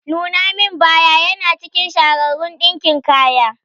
Nuna min baya yana cikin shahararun ɗinkin kaya.